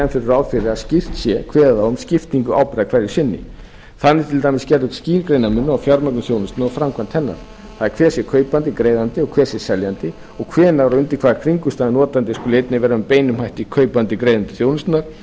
ráð fyrir að skýrt se kveðið á um skiptingu ábyrgðar hverju sinni þannig er til dæmis gerður skýr greinarmunur á fjármögnun þjónustunnar og framkvæmd hennar það er hver sé kaupandi greiðandi og hver sé seljandi og hver sé og undir hvaða kringumstæðum notandi skuli einnig vera með beinum hætti kaupandi greiðandi þjónustunnar